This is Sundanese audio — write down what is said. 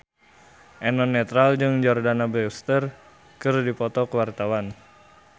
Eno Netral jeung Jordana Brewster keur dipoto ku wartawan